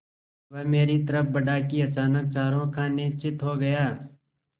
वह मेरी तरफ़ बढ़ा कि अचानक चारों खाने चित्त हो गया